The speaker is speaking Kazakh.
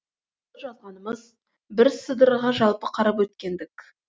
бұл жазғанымыз бірсыдырғы жалпы қарап өткендік